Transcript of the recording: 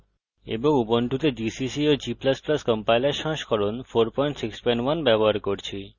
এবং ubuntu gcc ও g ++ compiler সংস্করণ 461 ব্যবহার করছি